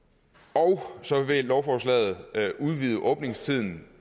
og så vil lovforslaget udvide åbningstiden